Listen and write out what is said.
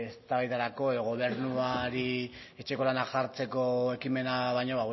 eztabaidarako edo gobernuari etxeko lanak jartzeko ekimena baino